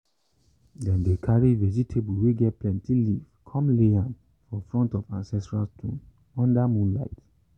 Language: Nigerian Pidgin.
dem dey carry vegetable way get plenty leave come lay am for front of ancestral stone under moonlight.